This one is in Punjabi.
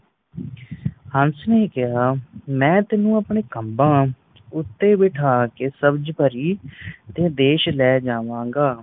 ਹੱਸ ਨੇ ਕਿਹਾ, ਮੈਂ ਤੈਨੂੰ ਆਪਣੇ ਖਮਭਾਂ ਉੱਤੇ ਬੈਠਾ ਕੇ ਸਬਜ ਪਰੀ ਤੇ ਦੇਸ਼ ਲੈ ਜਾਵਾਗਾ।